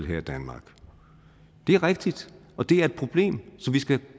her i danmark det er rigtigt og det er et problem som vi skal